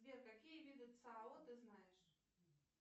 сбер какие виды цао ты знаешь